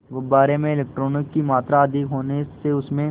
गुब्बारे में इलेक्ट्रॉनों की मात्रा अधिक होने से उसमें